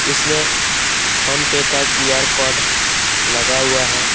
इसमें PhonePe का QR. Code लगा हुआ हैं ।